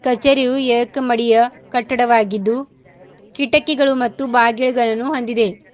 ಕಚೇರಿಯೋ ಏಕ ಮಡಿಯ ಕಟ್ಟಡವಾಗಿದ್ದು ಕಿಟಕಿಗಳನ್ನು ಹಾಗೂ ಬಾಗಿಲುಗಳನ್ನು ಹೊಂದಿದೆ.